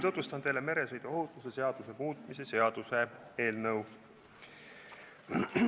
Tutvustan teile meresõiduohutuse seaduse muutmise seaduse eelnõu.